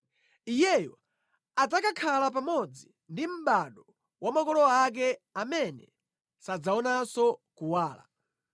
iyeyo adzakakhala pamodzi ndi mʼbado wa makolo ake, amene sadzaonanso kuwala.